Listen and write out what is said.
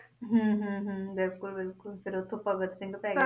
ਹਮ ਹਮ ਹਮ ਬਿਲਕੁਲ ਬਿਲਕੁਲ ਫੇਰ ਓਥੋਂ ਭਗਤ ਸਿੰਘ ਪੈ ਗਿਆ